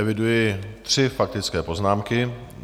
Eviduji tři faktické poznámky.